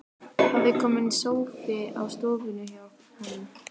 Það er kominn sófi á stofuna hjá honum.